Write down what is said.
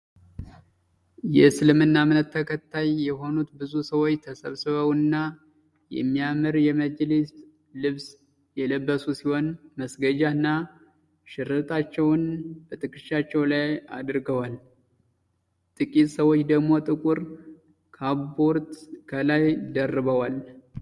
የእስልምና እምነት ተከታይ የሆኑት ብዙ ሰዎች ተሰብስበውና የሚያምር የመጅሊስ ልብስ የለበሱ ሲሆን መስገጃ እና ሽረጣቸውን በትክሻቸው ላይ አድርገዋል። ጥቂት ሰዎች ደግሞ ጥቁር ካቦርት ከላይ ደርበዋል።